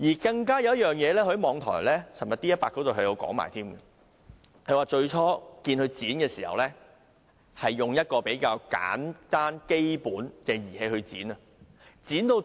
他昨天在網台 D100 還提到另一件事：最初他看到他們剪短鋼筋時，是用一個比較簡單、基本的工具去剪。